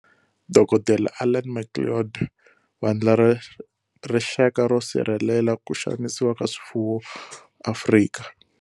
Dokodela Alan Macleod, Vandla ra Rixaka ro Sirhelelela ku Xanisiwa ka Swifuwo, Afrika.